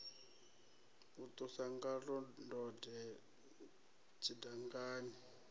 a ṱusa ngaḽo ndode tshidangani